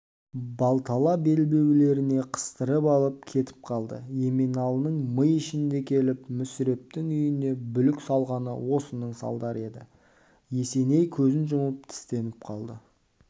балтала белбеулеріне қыстырып алып кетіп қалды еменалының ми ішінде келіп мүсірептің үйіне бүлік салғаны осының алдары еді есеней көзін жұмып тістеніп қалды